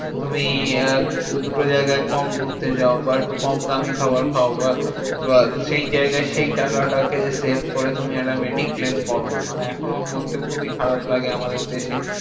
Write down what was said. তুমি আহ দুটো জায়গায় কম ঘুরতে যাও বা একটু কম দামি খাবার খাও বা বা সেই জায়গায় সেই টাকাটাকে save করে তুমি একটা mediclaim করো। মানে এখনোও বলতে খুবই খারাপ লাগে আমাদের দেশে